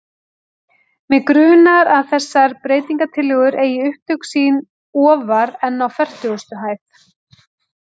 Mig grunar, að þessar breytingartillögur eigi upptök sín ofar en á fertugustu hæð.